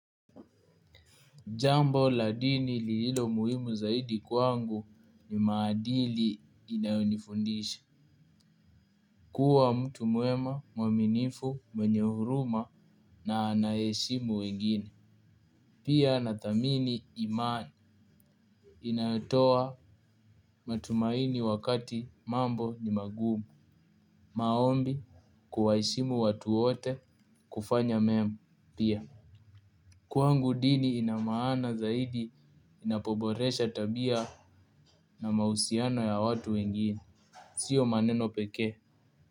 Jambo la dini lililo muhimu zaidi kwangu ni maadili inayonifundisha. Kuwa mtu mwema, mwaminifu, mwenye huruma na anayeheshimu wengine. Pia nathamini imani inayotoa matumaini wakati mambo ni magumu. Maombi kuwaheshimu watu wote kufanya mema pia. Kwangu dini ina maana zaidi inapoboresha tabia na mahusiano ya watu wengine. Sio maneno pekee.